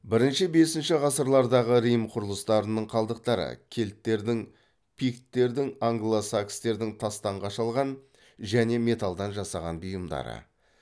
бірінші бесінші ғасырлардағы рим құрылыстарының қалдықтары кельттердің пикттердің англо сакстердің тастан қашалған және металдан жасаған бұйымдары